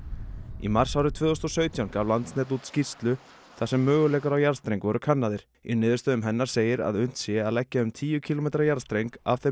í mars árið tvö þúsund og sautján gaf Landsnet út skýrslu þar sem möguleikar á jarðstreng voru kannaðir í niðurstöðum hennar segir að unnt sé að leggja um tíu kílómetra jarðstreng af þeim